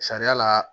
Sariya la